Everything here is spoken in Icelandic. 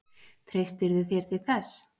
Treystirðu þér til þess?